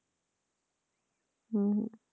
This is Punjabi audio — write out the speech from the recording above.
ਹਮ